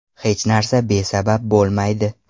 Hech narsa besabab bo‘lmaydi.